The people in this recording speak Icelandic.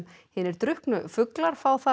hinir drukknu fuglar fá þar